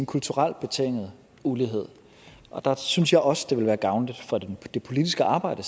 kulturelt betinget ulighed og der synes jeg også det vil være gavnligt for det politiske arbejde